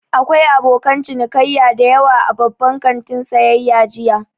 Akwai abokan cinikayya da yawa a babban kantin sayayya jiya.